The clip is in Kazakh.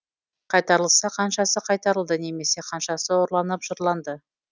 қайтарылса қаншасы қайтарылды немесе қаншасы ұрланып жырланды